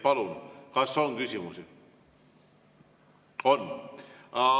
Palun, kas on küsimusi?